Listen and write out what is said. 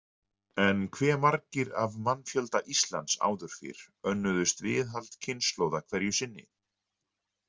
En hve margir af mannfjölda Íslands áður fyrr „önnuðust“ viðhald kynslóða hverju sinni?